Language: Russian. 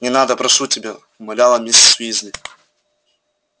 не надо прошу тебя умоляла миссис уизли